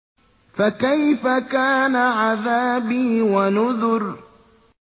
فَكَيْفَ كَانَ عَذَابِي وَنُذُرِ